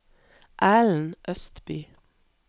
Ellen Østby